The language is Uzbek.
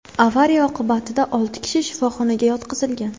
Avariya oqibatida olti kishi shifoxonaga yotqizilgan.